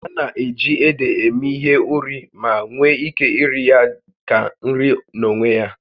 A na-eji ede eme ihe ụrị ma nwee ike iri ya dị ka nri n'onwe ya